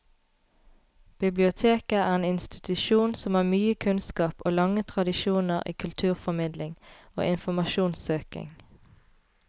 Biblioteket er en institusjon som har mye kunnskap og lange tradisjoner i kulturformidling og informasjonssøking.